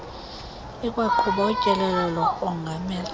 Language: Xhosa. ikwaqhuba utyelelo lokongamela